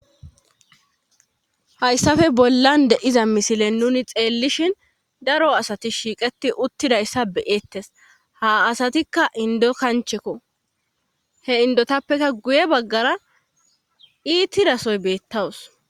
hayssafe bollan de7iza misilen nuni xeellishin daro asati shiiqeti uttidayssa beyeettes ha asatikka indo kanchekko he indotappekka guye baggara iittidasoy beettawus